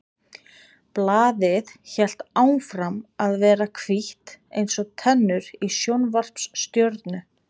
Blaðið hélt áfram að vera hvítt eins og tennur í sjónvarpsstjörnu.